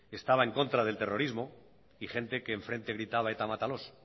estaba en contra del terrorismo y gente que enfrente gritaba eta mátalos